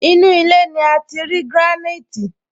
Inú ilé ní ati leri granite